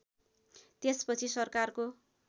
त्यस पछि सरकारको